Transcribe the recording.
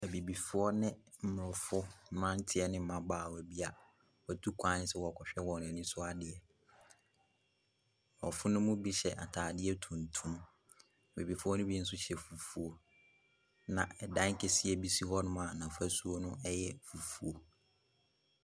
Abibifoɔ ne aborɔfo mmeranteɛ ne mmabaawa bi a wɔatu kwan sɛ wɔrekɔhwɛ wɔn ani so adeɛ. Aborɔfo no mu bi hyɛ atadeɛ tuntum. Abibifoɔ no bi nso hyɛ fufuo, na ɛdan kɛseɛ bi si hɔnom a n'afasuo no yɛ fufuo.